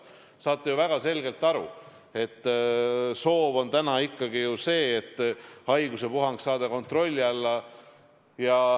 Te saate ju väga selgelt aru, et soov on täna ikkagi ju see, et haigusepuhang saada kontrolli alla.